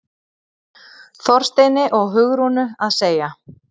Þorsteini og Hugrúnu að segja.